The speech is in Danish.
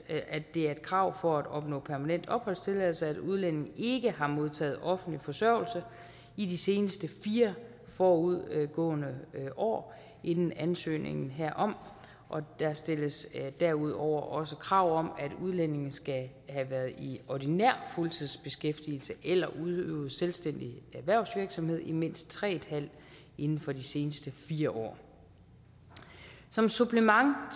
det er et krav for at opnå permanent opholdstilladelse at udlændinge ikke har modtaget offentlig forsørgelse i de seneste fire forudgående år inden ansøgningen herom og der stilles derudover også krav om at udlændinge skal have været i ordinær fuldtidsbeskæftigelse eller have udøvet selvstændig erhvervsvirksomhed i mindst tre år inden for de seneste fire år som supplement